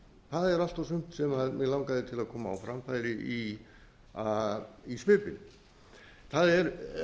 er allt og sumt sem mig langaði til að koma á framfæri í svipinn það er